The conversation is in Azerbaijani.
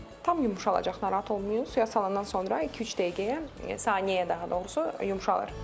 Tam yumşalacaq, narahat olmayın, suya salandan sonra iki-üç dəqiqəyə, saniyəyə daha doğrusu yumşalır.